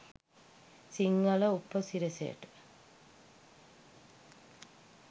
සිංහල උපසිරැසියට.